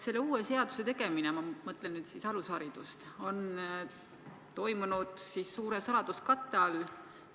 Selle uue seaduseelnõu tegemine – ma mõtlen nüüd siis alusharidust – on toimunud suure saladuskatte all.